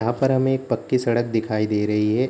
यहाँ पर हमे एक पक्की सड़क दिखाई दे रही हैं।